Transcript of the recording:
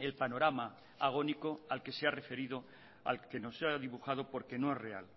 el panorama agónico al que se ha referido al que nos ha dibujado por que no es real